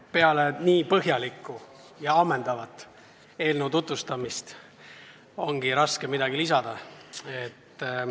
No peale nii põhjalikku ja ammendavat eelnõu tutvustamist on raske midagi lisada.